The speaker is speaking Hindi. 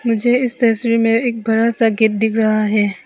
मुझे इस तस्वीर में एक बड़ा सा गेट दिख रहा है।